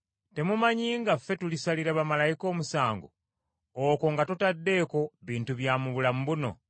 Temumanyi nga ffe tulisalira bamalayika omusango, okwo nga totaddeeko bintu bya mu bulamu buno?